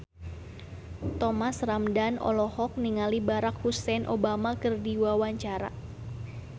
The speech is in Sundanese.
Thomas Ramdhan olohok ningali Barack Hussein Obama keur diwawancara